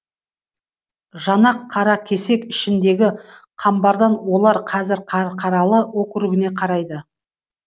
жанақ қаракесек ішіндегі қамбардан олар қазір қарқаралы округіне қарайды